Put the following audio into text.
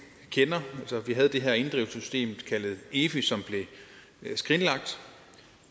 for vi havde det her inddrivelsessystem kaldet efi som blev skrinlagt